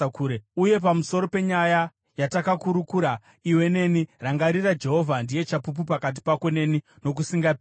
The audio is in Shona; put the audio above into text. Uye pamusoro penyaya yatakurukura iwe neni, rangarira, Jehovha ndiye chapupu pakati pako neni nokusingaperi.”